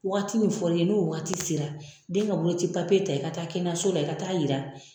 Waati min fɔra i ye n'o waati sera den ka boloci papiye ta i ka taa kɛnɛyaso i ka taa yira